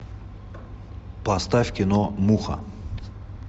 поставь кино муха